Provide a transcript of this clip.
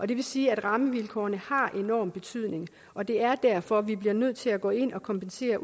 det vil sige at rammevilkårene har enorm betydning og det er derfor vi bliver nødt til at gå ind og kompensere